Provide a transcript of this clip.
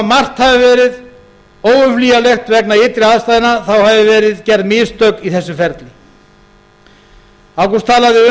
margt hefði verið óumflýjanlegt vegna ytri aðstæðna þá hefðu verið gerð mistök í þessu ferli ágúst talaði